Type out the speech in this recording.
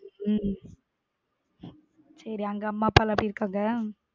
உம் சேரி அங்க அம்மா அப்பாலாம் எப்பிடி இருகாங்க?